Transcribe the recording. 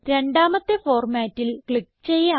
രണ്ടാമത്തെ ഫോർമാറ്റിൽ ക്ലിക്ക് ചെയ്യാം